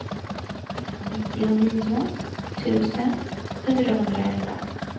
nittionio tusen fyrahundraelva